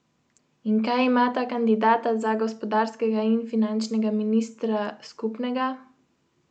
In kaj imata kandidata za gospodarskega in finančnega ministra skupnega?